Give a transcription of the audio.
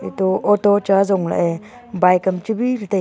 ato auto cha jonglah ye bike am chibi ley taiga.